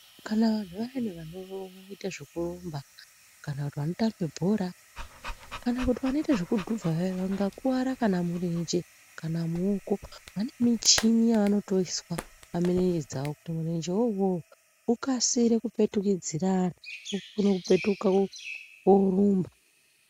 Kana vanhu vayani vanoite zvekurumba kana kuti vanotambe bhora kana kuti vanoite zvekudhuvha vaya vangakuwara kana murenje kana muoko vane michini yavanotoiswa pamirenje dzavo kuti murenje wo uwowo ukasire kupetukidzirana ukone kupetuka worumba.